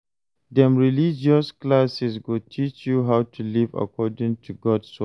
Dem religious classes go teach you how to live according to God's word.